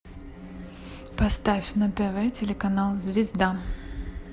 поставь на тв телеканал звезда